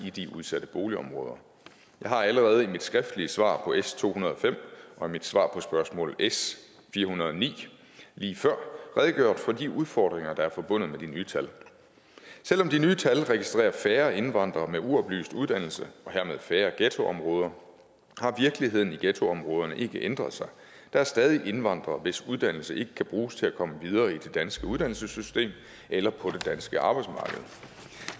i de udsatte boligområder jeg har allerede i mit skriftlige svar på s to hundrede og fem og i mit svar på spørgsmål s fire hundrede og ni lige før redegjort for de udfordringer der er forbundet med de nye tal selv om de nye tal registrerer færre indvandrere med uoplyst uddannelse og hermed færre ghettoområder har virkeligheden i ghettoområderne ikke ændret sig der er stadig indvandrere hvis uddannelse ikke kan bruges til at komme videre i det danske uddannelsessystem eller på det danske arbejdsmarked